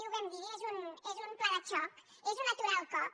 ho vam dir és un pla de xoc és un aturar el cop